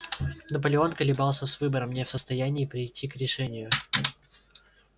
наполеон колебался с выбором не в состоянии прийти к решению